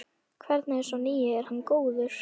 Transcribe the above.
Hvernig er sá nýi, er hann góður?